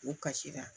U kasira